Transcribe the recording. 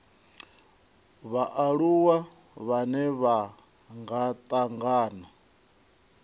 vhaaluwa vhane vha nga tangana